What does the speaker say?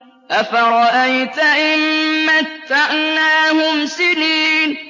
أَفَرَأَيْتَ إِن مَّتَّعْنَاهُمْ سِنِينَ